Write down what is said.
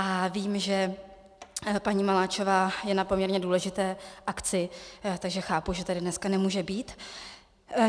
A vím, že paní Maláčová je na poměrně důležité akci, takže chápu, že tady dneska nemůže být.